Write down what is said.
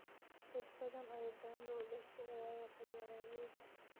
Dad badan oo Ugandha u dhashay ayaa wata beeralayda.